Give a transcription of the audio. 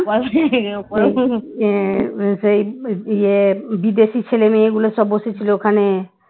সেই ইয়ে বিদেশি ছেলে মেয়ে গুলো সব বসেছিল ওখানে